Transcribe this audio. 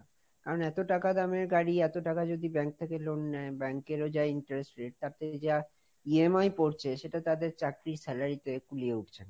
কারণ এত টাকা দামের গাড়ি, এত টাকা যদি bank থেকে loan নেয়, bank এর ও যা interested, তাতে যা EMI পড়ছে সেটা তাদের চাকরির salary তে কুলিয়ে উঠছে না।